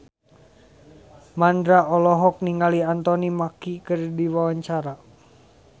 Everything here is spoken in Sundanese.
Mandra olohok ningali Anthony Mackie keur diwawancara